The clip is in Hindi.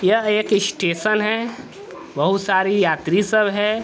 यह एक स्टेशन है। बहुत सारी यात्री सब है।